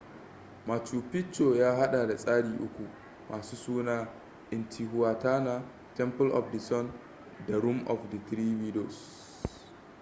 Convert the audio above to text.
machu picchu ya hada da tsari uku masu suna intihuatana temple of the sun da room of the three windows